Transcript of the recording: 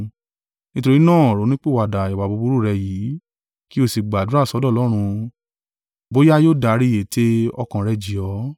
Nítorí náà ronúpìwàdà ìwà búburú rẹ yìí, kí ó sì gbàdúrà sọ́dọ̀ Ọlọ́run bóyá yóò dárí ète ọkàn rẹ jì ọ́.